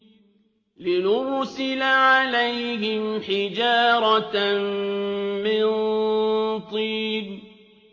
لِنُرْسِلَ عَلَيْهِمْ حِجَارَةً مِّن طِينٍ